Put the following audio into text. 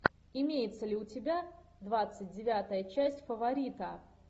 имеется ли у тебя двадцать девятая часть фаворита